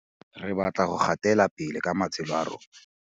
Re batla go gatelapele ka matshelo a rona.